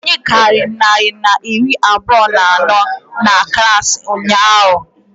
Anyị karịrị narị na iri abụọ na anọ na klaasị ụnyaahụ